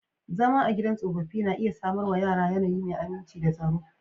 Zama a gidan tsofaffi na iya samar wa yara yanayi mai aminci da tsaro.